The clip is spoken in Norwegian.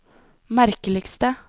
merkeligste